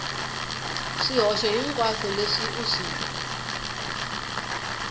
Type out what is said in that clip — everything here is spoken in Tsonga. swihoxo hinkwaswo leswi u swi